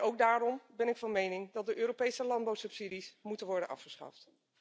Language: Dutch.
Ook daarom ben ik van mening dat de Europese landbouwsubsidies moeten worden afgeschaft.